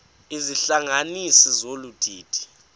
izihlanganisi zolu didi